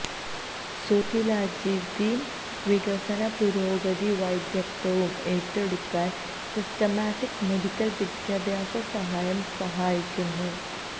socialisation വികസന പുരോഗതി വൈദഗ്ധ്യവും ഏറ്റെടുക്കൽ സിസ്റ്റമാറ്റിക് മെഡിക്കൽ വിദ്യാഭ്യാസ സഹായം സഹായിക്കുന്നു